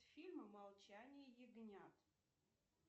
фильм молчание ягнят